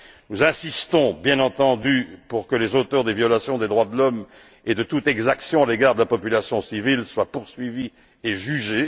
Nous insistons, bien entendu, pour que les auteurs des violations des droits de l'homme et de toute exaction à l'égard de la population civile soient poursuivis et jugés.